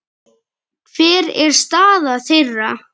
Hver er staða þeirra?